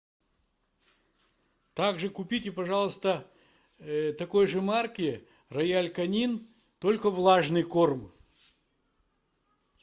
также купите пожалуйста такой же марки рояль канин только влажный корм